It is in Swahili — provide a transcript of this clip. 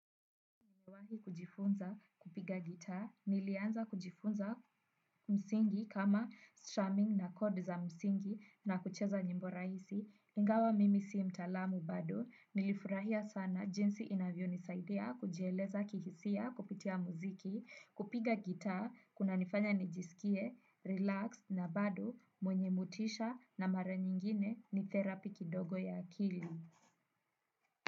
Niliwahi kujifunza kupiga gitaa, nilianza kujifunza msingi kama strumming na kodi za msingi na kucheza nyimbo rahisi. Ingawa mimi si mtaalamu bado, nilifurahia sana jinsi inavyonisaidia kujieleza kihisia kupitia muziki, kupiga gitaa. Kunanifanya nijisikie relaxed na bado mwenye motisha, na mara nyingine ni therapy kidogo ya akili.